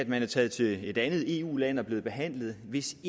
man er taget til et andet eu land og blevet behandlet hvis